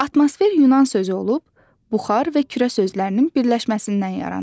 Atmosfer Yunan sözü olub, buxar və kürə sözlərinin birləşməsindən yaranıb.